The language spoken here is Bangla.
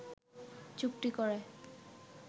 চুক্তি করে